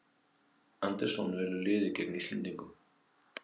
Andersson velur liðið gegn Íslendingum